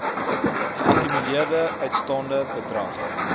geakkumuleerde uitstaande bedrag